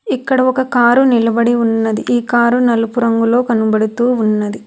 ఇక్కడ ఒక కారు నిలబడి ఉన్నది ఈ కారు నలుపు రంగులో కనబడుతూ ఉన్నది.